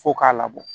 Fo k'a labɔ